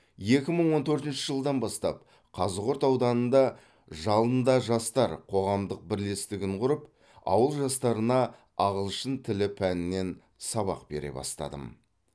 екі мың он төртінші жылдан бастап қазығұрт ауданында жалында жастар қоғамдық бірлестігін құрып ауыл жастарына ағылшын тілі пәнінен сабақ бере бастадым